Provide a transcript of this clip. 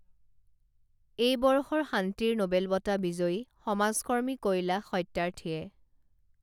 এই বৰ্ষৰ শান্তি নোবেল বঁটা বিজয়ী সমাজকৰ্মী কৈলাশ সত্যাৰ্থীয়ে